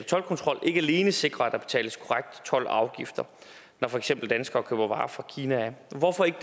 toldkontrol ikke alene sikre at der betales korrekt told og afgifter når for eksempel danskere køber varer fra kina hvorfor ikke